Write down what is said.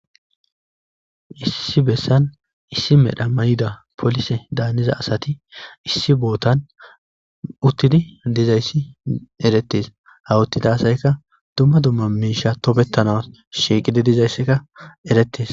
Issi bessan issi medha maayida polise daniza asati issi bootan uththidi dizayssi erettes. ha uttida asaykka dumma dumma miishsha tobetanas shiiqidi erettes.